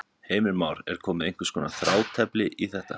Heimir Már: Er komið einhvers konar þrátefli í þetta?